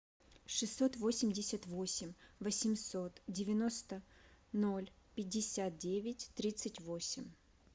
шестьсот восемьдесят восемь восемьсот девяносто ноль пятьдесят девять тридцать восемь